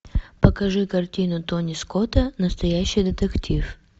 покажи картину тони скотта настоящий детектив